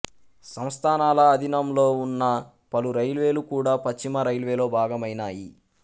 సంస్థానాల అధీనంలో ఉన్న పలు రైల్వేలు కూడా పశ్చిమ రైల్వేలో భాగమైనాయి